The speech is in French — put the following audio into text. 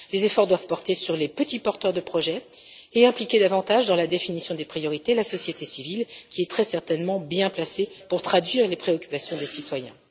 Les efforts doivent porter sur les petits porteurs de projets et associer davantage, dans la définition des priorités, la société civile, qui est très certainement bien placée pour traduire les préoccupations des citoyens.